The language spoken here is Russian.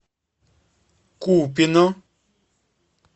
купино